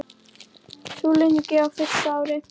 Súluungi á fyrsta ári.